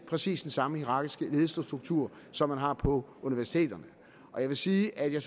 præcis den samme hierarkiske ledelsesstruktur som man har på universiteterne jeg vil sige at jeg